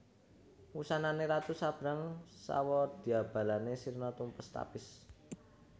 Wusanane ratu sabrang sawadyabalane sirna tumpes tapis